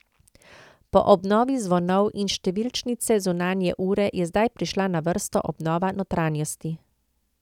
Po obnovi zvonov in številčnice zunanje ure je zdaj prišla na vrsto obnova notranjosti.